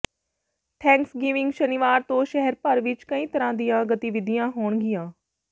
Thanksgiving ਸ਼ਨੀਵਾਰ ਤੋਂ ਸ਼ਹਿਰ ਭਰ ਵਿੱਚ ਕਈ ਤਰ੍ਹਾਂ ਦੀਆਂ ਗਤੀਵਿਧੀਆਂ ਹੋਣਗੀਆਂ